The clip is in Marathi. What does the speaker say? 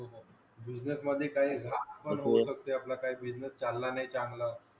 business मध्ये काही आपला काही business चालला नाही चांगला